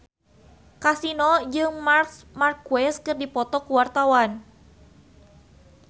Kasino jeung Marc Marquez keur dipoto ku wartawan